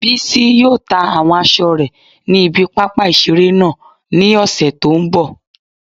Bísí yóò ta àwọn aṣọ rẹ̀ ní ibi pápá ìseré náà ní ọ̀sẹ̀ tó n bọ̀